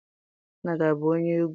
Nna gị abụ onye egwu?